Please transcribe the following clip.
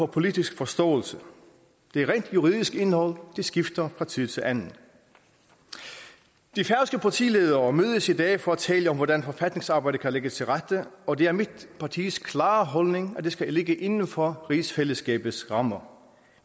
politisk forståelse det rent juridiske indhold skifter fra tid til anden de færøske partiledere mødes i dag for at tale om hvordan forfatningsarbejdet kan lægges til rette og det er mit partis klare holdning at det skal ligge inden for rigsfællesskabets rammer